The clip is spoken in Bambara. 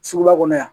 Suguba kɔnɔ yan